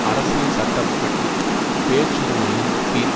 அரசியல் சட்ட படி பேச்சுரிமையின் கீழ்